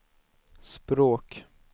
språk